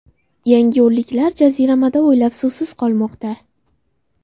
Yangiyo‘lliklar jaziramada oylab suvsiz qolmoqda.